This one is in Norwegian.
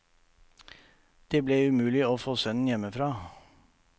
Det ble umulig å få sønnen hjemmefra.